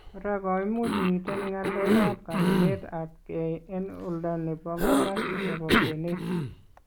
Kora koimuchi miten ngalekab kaninetab kee en oldo nebo kong'assis nebo kwenet .